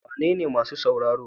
Wanene masu sauraro?